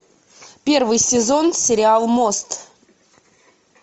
первый сезон сериал мост